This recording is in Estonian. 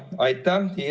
Aitäh!